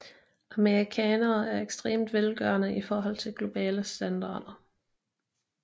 Amerikanere er ekstremt velgørende i forhold til globale standarder